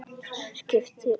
Skiptir engu.